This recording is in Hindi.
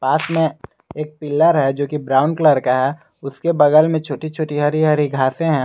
पास में एक पिलर है जो कि ब्राउन कलर का है उसके बगल में छोटी-छोटी हरी-हरी घासे हैं।